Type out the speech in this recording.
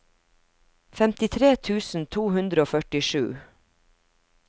femtitre tusen to hundre og førtisju